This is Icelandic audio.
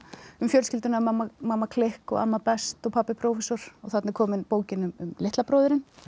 um fjölskylduna mamma mamma klikk amma best og pabbi prófessor þarna er komin bókin um litla bróðurinn